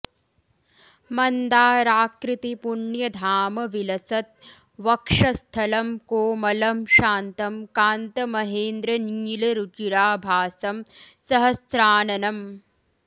मन्दाराकृति पुण्यधाम विलसत् वक्षस्थलं कोमलम् शान्तं कान्तमहेन्द्रनील रुचिराभासं सहस्राननम्